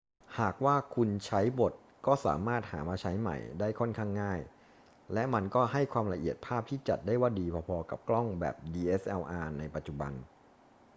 หากว่าคุณใช้หมดก็สามารถหามาใช้ใหม่ได้ค่อนข้างง่าย และมันก็ให้ความละเอียดภาพที่จัดได้ว่าดีพอ ๆ กับกล้องแบบ dslr ในปัจจุบัน